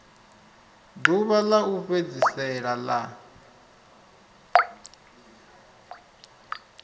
ḓuvha ḽa u fhedzisela ḽa